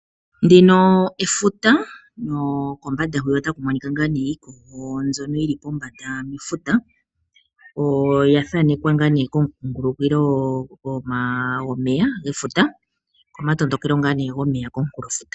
Ndino efuta nokombanda hwiya ota ku monika ngaa nee iikogo mbyono yi li pombanda mefuta, oya thanekwa ngaa nee komukungulikilo gomeya gefuta komatondokelo ngaa nee gomeya komunkulofuta.